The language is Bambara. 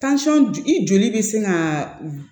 i joli bɛ sin ka